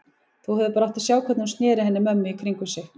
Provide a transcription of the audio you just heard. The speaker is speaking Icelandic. Þú hefðir bara átt að sjá hvernig hún sneri henni mömmu í kringum sig.